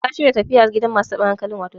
kun shirya tafiya gidan masu tabin hankali?